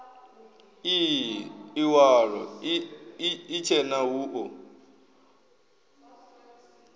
ii iwalo itshena hu o